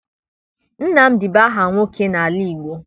Nnanna bụ aha nwoke n'ala Igbo.